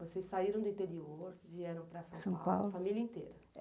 Vocês saíram do interior, vieram para São Paulo, família inteira?